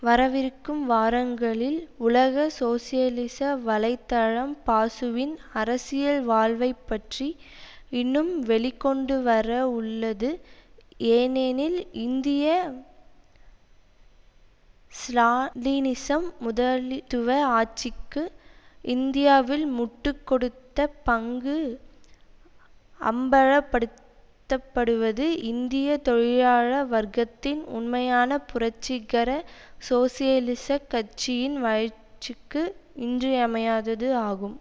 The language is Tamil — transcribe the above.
வரவிருக்கும் வாரங்களில் உலக சோசியலிச வலை தளம் பாசுவின் அரசியல் வாழ்வை பற்றி இன்னும் வெளிக்கொண்டுவர உள்ளது ஏனெனில் இந்திய ஸ்ராலினிசம் முதளித்துவ ஆட்சிக்கு இந்தியாவில் முட்டு கொடுத்த பங்கு அம்பலப்படுத்தப்படுவது இந்திய தொழிலாள வர்க்கத்தின் உண்மையான புரட்சிகர சோசியலிசக் கட்சியின் வளர்ச்சிக்கு இன்றியமையாதது ஆகும்